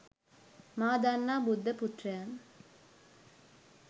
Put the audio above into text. මා දන්නා බුද්ධ පුත්‍රයන්